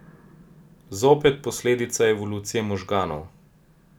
Zopet posledica evolucije možganov.